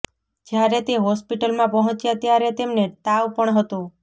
જ્યારે તે હોસ્પિટલમાં પહોંચ્યા ત્યારે તેમને તાવ પણ હતો